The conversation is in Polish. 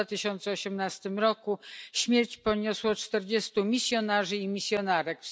W 2018 roku śmierć poniosło czterdziestu misjonarzy i misjonarek.